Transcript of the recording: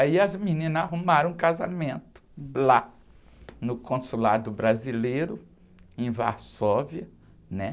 Aí as meninas arrumaram um casamento lá no consulado brasileiro, em Varsóvia, né?